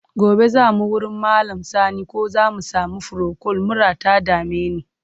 Gobe za mu wurin Malam Sani ko za mu sami furokol, mura ta dame ni.